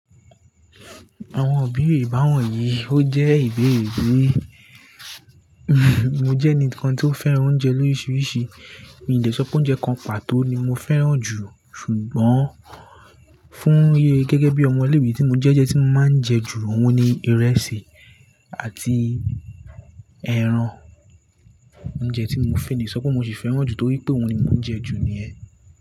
Àwọn ìbéèrè báwòn yìí, ó jẹ́ ìbéèrè bí, mo jẹ́ ẹni kan tí ó fẹ́ràn oúnjẹ lóriṣiríṣi, mi ò lè sọ pé oúnjẹ kan pàtó ni mo fẹ́ràn jù. Ṣùgbọ́n fún gẹ́gẹ́ bí ọmọ ilé ìwé tí mo jẹ́ ounjẹ́ tí mo máa ń jẹ jù, òun ni ìrẹsì àti ẹran. Oúnjẹ tí mo fẹ́ le sọ pé mo sì fẹ́ràn jù torí pé òun ni mo ń jẹ jù ni yẹ́.